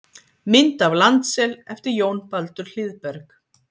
Mynd af landsel eftir Jón Baldur Hlíðberg.